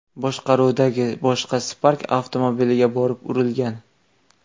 boshqaruvidagi boshqa Spark avtomobiliga borib urilgan.